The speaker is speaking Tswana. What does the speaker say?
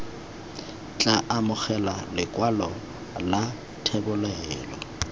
tla amogela lekwalo la thebolelo